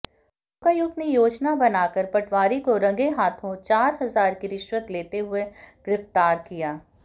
लोकायुक्त ने योजना बनाकर पटवारी को रंगेहाथों चार हजार की रिश्वत लेते हुए गिऱफ्तार किया